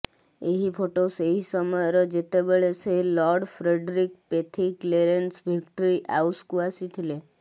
ଏହି ଫଟୋ ସେହି ସମୟର ଯେତେବେଳେ ସେ Lord Frederick Pethick Lawrence Victoria ଆଉସକୁ ଆସିଥିଲେ